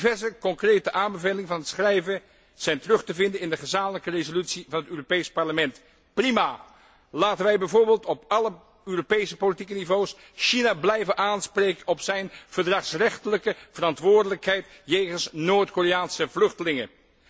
Diverse concrete aanbevelingen van het schrijven zijn terug te vinden in de gezamenlijke resolutie van het Europees Parlement. Prima! Laten wij bijvoorbeeld op alle Europese politieke niveaus China blijven aanspreken op zijn verdragsrechtelijke verantwoordelijkheid jegens Noord Koreaanse vluchtelingen.